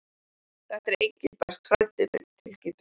Þetta er Engilbert frændi minn tilkynnti hann.